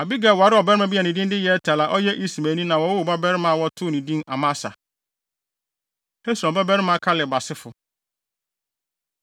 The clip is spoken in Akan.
Abigail waree ɔbarima bi a ne din de Yeter a ɔyɛ Ismaelni na wɔwoo ɔbabarima a wɔtoo no din Amasa. Hesron Babarima Kaleb Asefo